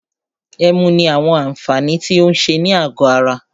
Ẹmu ní àwọn àǹfààní tí o ń ṣe ní àgọ ara.